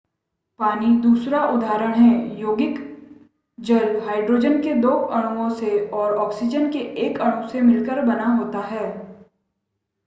पानी दूसरा उदारहण है यौगिक जल हाइड्रोजन के दो अणुओं से और ऑक्सीजन के एक अणु से मिलकर बना होता है